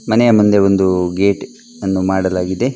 ಮನೆಯ ಮುಂದೆ ಒಂದು ಗೇಟ್ ಅನ್ನು ಮಾಡಲಾಗಿದೆ.